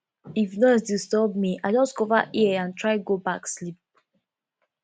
if noise disturb me i just cover ear and try go back sleep